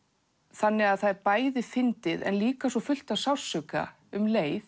þannig að það er bæði fyndið en líka svo fullt af sársauka um leið